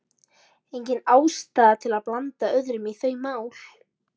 Engin ástæða til að blanda öðrum í þau mál.